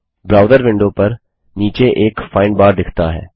browser window पर नीचे एक फाइंड बार दिखता है